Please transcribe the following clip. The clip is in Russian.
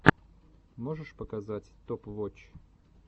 можешь показать топ вотч